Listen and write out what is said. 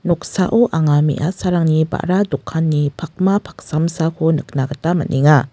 noksao anga me·asarangni ba·ra dokanni pakma paksamsako nikna gita man·enga.